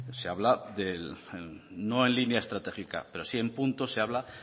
se habla no en línea estratégica pero sí en puntos se habla